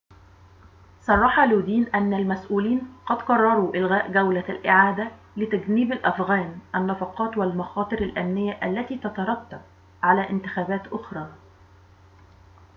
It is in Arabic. صرح لودين أن المسؤولين قد قرروا إلغاء جولة الإعادة لتجنيب الأفغان النفقات والمخاطر الأمنية التي تترتب على انتخابات أخرى